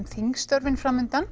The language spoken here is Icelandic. þingstörfin